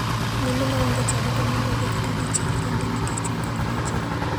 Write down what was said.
Mine ma onge e chadi to nyalo dhi kata dichiel kende nikech onge ng'ama jiwe.